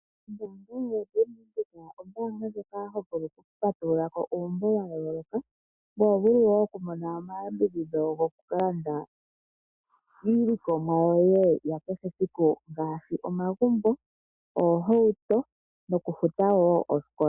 Ombaanga yoBank Windhoek ombaanga ndjoka yokupatululako uumbo wa yooloka. Ko oho vulu wo okumona omayambidhidho gokukalanda iilikomwa yoye ya kehe esiku, ngaashi omagumbo, oohauto nokufuta wo osikola.